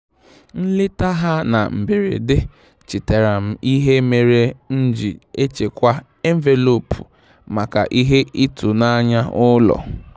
Nleta ha na mberede chetaara m ihe mere m ji echekwa envelopu maka ihe ịtụnanya ụlọ.